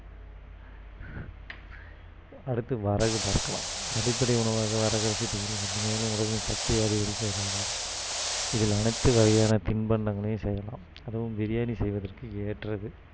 அடுத்து வரகு பார்க்கலாம் அடிப்படை உணவாக வரகரசி மேலும் உடலில் சக்தியை அதிகரிக்க உதவுது இதில் அனைத்து வகையான திண்பண்டங்களையும் செய்யலாம் அதுவும் பிரியாணி செய்வதற்கு ஏற்றது